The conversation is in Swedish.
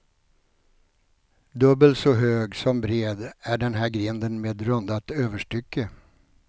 Dubbel så hög som bred är den här grinden med rundat överstycke.